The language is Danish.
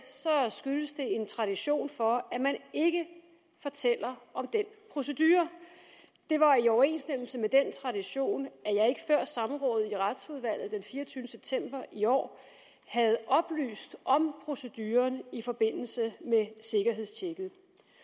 skyldtes det en tradition for at man ikke fortæller om den procedure det var i overensstemmelse med den tradition at samrådet i retsudvalget den fireogtyvende september i år havde oplyst om proceduren i forbindelse med sikkerhedstjekket